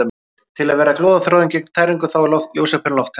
Til að verja glóðarþráðinn gegn tæringu þá er ljósaperan lofttæmd.